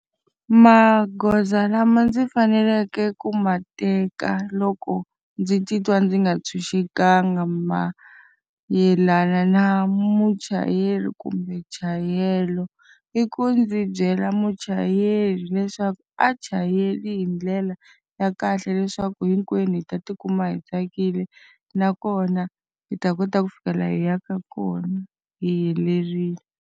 Magoza lama ndzi faneleke ku ma teka loko ndzi titwa ndzi nga ntshunxekanga mayelana na muchayeri kumbe nchayelelo, i ku ndzi byela muchayeri leswaku a chayeli hi ndlela ya kahle leswaku hinkwenu hi ta tikuma hi tsakile. Nakona hi ta kota ku fika laha hi yaka kona hi helerile.